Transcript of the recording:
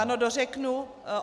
Ano, dořeknu.